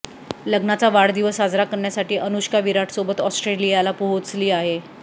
लग्नाचा वाढदिवस साजरा करण्यासाठी अनुष्का विराटसोबत ऑस्ट्रेलियाला पोहोचली आहे